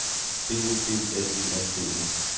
B O B L E N D E